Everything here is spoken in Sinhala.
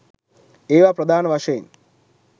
ඒවා ප්‍රධාන වශයෙන්